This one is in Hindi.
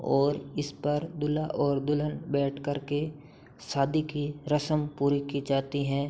और इस पर दूल्हा और दुल्हन बैठकर के शादी की रश्म पूरी की जाती है।